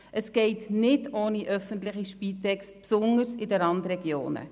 Es geht nicht ohne die öffentliche Spitex, insbesondere in den Randregionen.